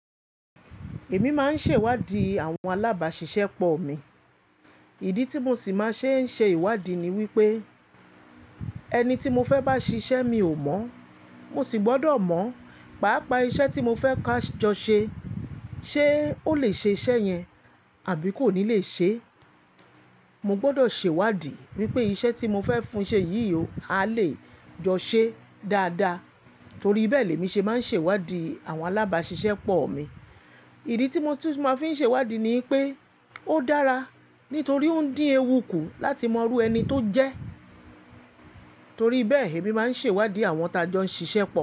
Èmi máa ń ṣèwádìí àwọn alábàáṣiṣẹ́ pọ̀ mi. Ìdí tí mo sì máa ń ṣe ìwádìí ni wípé ẹni tí mo fẹ́ bá ṣiṣẹ́ mi ò mọ̀. Mo sì gbọ́dọ̀ mọ̀, pàápàá iṣẹ́ tí mo fẹ́ ka jọ ṣe. Ṣé ó lè ṣe iṣẹ́ yẹn àbí kò ní lè ṣe é? Mo gbọ́dọ̀ ṣèwádìí wípé iṣẹ́ tí mo fẹ́ fún un ṣe yìí a lè jọ ṣe dáadáa. Torí bẹ́ẹ̀ lè mi ṣe máa ń ṣèwádìí àwọn alábáàṣiṣẹ́ pọ̀ mi. Ìdí tí mo sì máa fi ń ṣe ìwádìí ni pé ó dára nítorí ó ń dín ewu kù láti mọ irú ẹni tó jẹ́. Torí bẹ́ẹ̀ èmi máa ń ṣèwádìí àwọn ta jọ ń ṣiṣẹ́ pọ̀